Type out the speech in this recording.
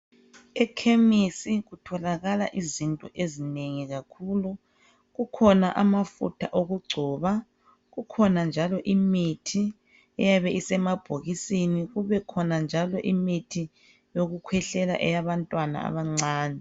Ekhemisi kutholakala izinto ezinengi kakhulu kukhona amafutha okugcoba kukhona njalo imithi eyabe isemabhokisini kubekhona njalo imithi yokukhwehlela eyabantwana abancane.